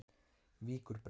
Víkurbraut